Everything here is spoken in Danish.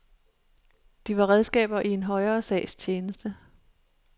De var redskaber i en højere sags tjeneste.